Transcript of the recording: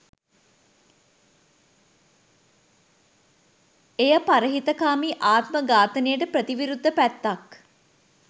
එය පරහිතකාමී ආත්ම ඝාතනයට ප්‍රති විරුද්ධ පැත්තක්.